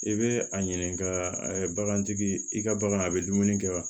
I bɛ a ɲininka bagantigi i ka bagan a bɛ dumuni kɛ wa